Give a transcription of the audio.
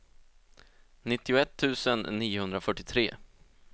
nittioett tusen niohundrafyrtiotre